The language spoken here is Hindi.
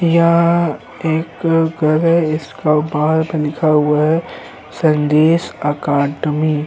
यह एक घर है इसका बाहर लिखा हुआ है संदेश अकाडमी ।